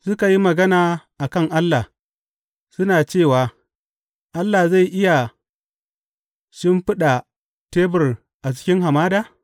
Suka yi magana a kan Allah, suna cewa, Allah zai iya shimfiɗa tebur a cikin hamada?